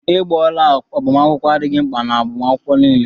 Ịgba ọla agbamakwụkwọ adịghị mkpa n'agbamakwụkwọ niile.